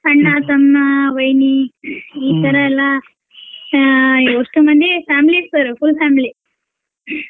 ಅಣ್ಣ, ತಮ್ಮ, ವೈನಿ ಇತರ ಎಲ್ಲಾ ಆ ಎಷ್ಟು ಮಂದಿ family sir full family .